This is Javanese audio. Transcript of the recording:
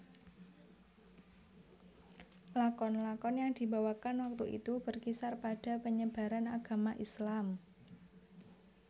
Lakon lakon yang dibawakan waktu itu berkisar pada penyebaran agama Islam